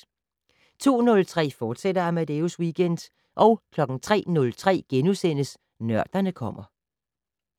02:03: Amadeus Weekend, fortsat 03:03: Nørderne kommer *